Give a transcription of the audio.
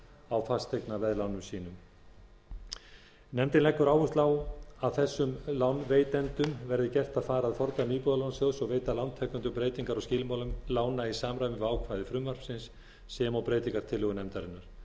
á fasteignaveðlánum sínum nefndin leggur áherslu á að þessum lánveitendum verði gert að fara að fordæmi íbúðalánasjóðs og veita lántakendum breytingar á skilmálum lána í samræmi við ákvæði frumvarpsins sem og breytingartillögu nefndarinnar